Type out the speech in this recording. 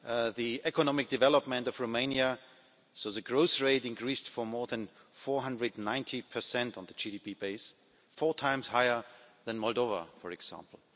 the economic development of Romania, so the growth rate, increased by more than 490 on the GDP base, four times higher than Moldova, for example.